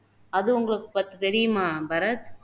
அது உங்களுக்கு பத்தி தெரியுமா பரத்